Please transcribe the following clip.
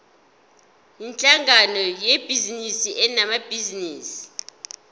yinhlangano yebhizinisi enabanikazi